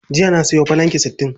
Jiya na sayo filanki sittin.